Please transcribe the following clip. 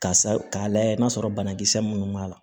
Ka sa k'a layɛ n'a sɔrɔ banakisɛ minnu b'a la